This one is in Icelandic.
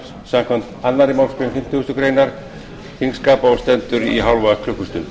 samkvæmt annarri málsgrein fimmtugustu grein þingskapa og stendur í hálfa klukkustund